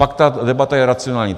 Pak ta debata je racionální.